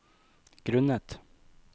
grunnet